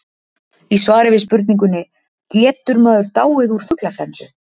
Í svari við spurningunni Getur maður dáið úr fuglaflensu?